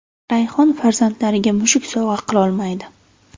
Rayhon farzandlariga mushuk sovg‘a qilolmaydi!